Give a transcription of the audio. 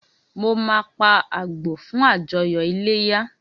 Mo máa pa àgbò fún àjọyọ̀ iléyá